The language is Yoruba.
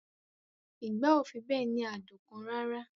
Ìgbá ò fi bẹ́ẹ̀ ní adùn kan rara